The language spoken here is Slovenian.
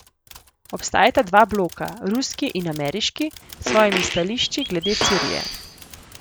Obstajata dva bloka, ruski in ameriški, s svojimi stališči glede Sirije.